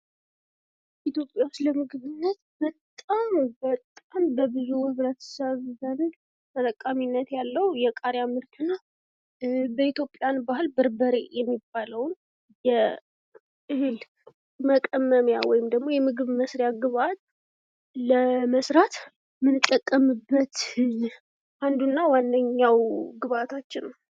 ኢትዮጵያ ውስጥ ለምግብነት በጣም በጣም በብዙ ህብረተሰብ ዘንድ ተጠቃሚነት ያለው የቃሪያ ምርት ነው ። በኢትዮጵያን ባህል በርበሬ የሚባለውን የእህል መቀመሚያ ወይም ደግሞ ምግብ መስሪያ ግብአት ለመስራት የምንጠቀምበት አንዱና ዋነኛው ግብአታችን ነው ።